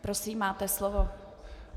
Prosím, máte slovo.